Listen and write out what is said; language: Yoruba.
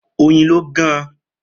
Oyin lo gaan